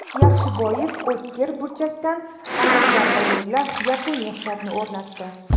Yaxshiboyev o‘tkir burchakdan aniq zarba yo‘llab, yakuniy hisobni o‘rnatdi.